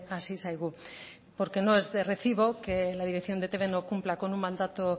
hasi zaigu porque no es de recibo que la dirección de etb no cumpla con un mandato